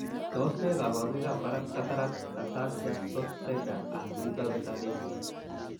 Tos nee koborunoikab Cataracts, ataxia, short stature, and mental retardation?